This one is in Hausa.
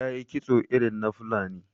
Ta yi kitso irin na Fulani.